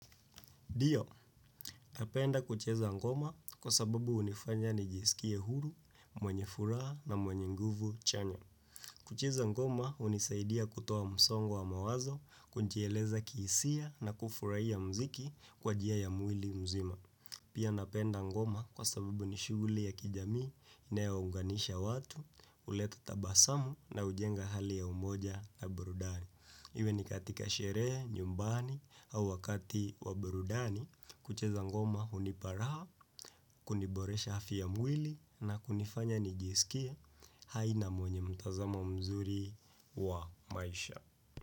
Ndiio, napenda kucheza ngoma kwa sababu hunifanya nijisikie huru, mwenye furaha na mwenye nguvu chanya. Kucheza ngoma hunisaidia kutoa msongo wa mawazo, kujieleza kihisia na kufurahia muziki kwa njia ya mwili mzima. Pia napenda ngoma kwa sababu ni shughuli ya kijamii, inayounganisha watu, huleta tabasamu na hujenga hali ya umoja na burudani. Iwe ni katika sherehe, nyumbani au wakati wa burudani kucheza ngoma hunipa raha, kuniboresha afya ya mwili na kunifanya nijisikie aina mwenye mtazamo mzuri wa maisha.